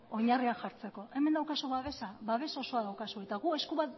oinarriak jartzeko hemen babes osoa daukazu eta gu esku